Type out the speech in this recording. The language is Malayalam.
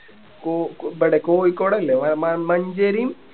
കോ ഇബടെ കോയിക്കോട് അല്ലെ മ മഞ്ചേരിയും